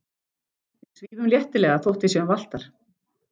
Við svífum léttilega þótt við séum valtar.